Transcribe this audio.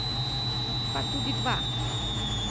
Pa tudi dva.